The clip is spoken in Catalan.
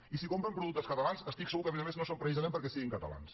i si compren productes catalans estic segur que a més a més no és precisament perquè siguin catalans